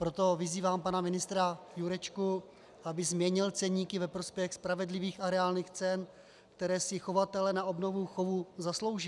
Proto vyzývám pana ministra Jurečku, aby změnil ceníky ve prospěch spravedlivých a reálných cen, které si chovatelé na obnovu chovů zaslouží.